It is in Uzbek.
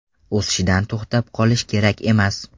O‘sishdan to‘xtab qolishi kerak emas.